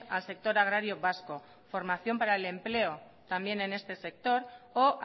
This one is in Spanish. al sector agrario vasco formación para el empleo también en este sector o